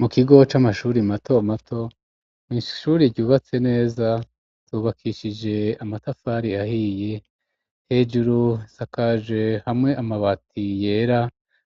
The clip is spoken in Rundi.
Mu kigo c'amashuri mato mato mu ishuri ryubatse neza ryubakishije amatafari ahiye hejuru hasakaje hamwe amabati yera